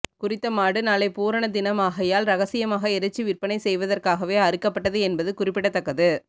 குறித்த மாடு நாளை பூரண தினமாகையால் இரகசியமாக இறைச்சி விற்பனை செய்வதற்காகவே அறுக்கபட்டது என்பது குறிப்பிடத்தக்கது